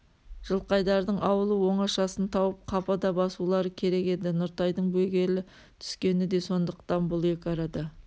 жылқайдардың ауылы оңашасын тауып қапыда басулары керек еді нұртайдың бөгелі түскені де сондықтан бұл екі арада